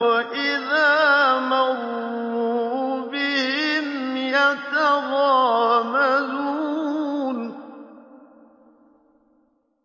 وَإِذَا مَرُّوا بِهِمْ يَتَغَامَزُونَ